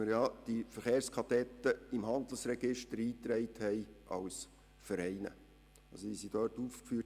Die Verkehrskadetten sind im Handelsregister als Vereine eingetragen.